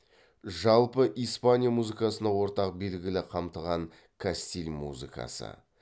жалпы испания музыкасына ортақ белгілерді қамтыған кастиль музыкасы